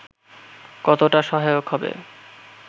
কতোটা সহায়ক হবে